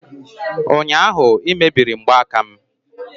ụnyaahụ ị emebiri mgbaaka m!